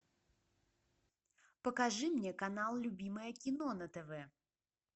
покажи мне канал любимое кино на тв